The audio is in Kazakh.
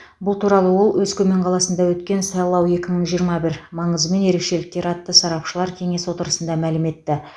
бұл туралы ол өскемен қаласында өткен сайлау екі мың жиырма бір маңызы мен ерекшеліктері атты сарапшылар кеңес отырысында мәлім етті